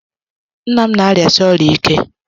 Nna m na-arịasi ọrịa ike.